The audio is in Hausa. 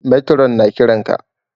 Matron na ƙiran ka